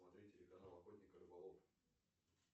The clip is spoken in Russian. смотреть телеканал охотник и рыболов